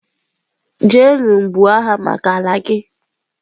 jenu buo agha maka ala gi!